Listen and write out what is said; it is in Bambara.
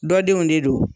Dɔ denw de don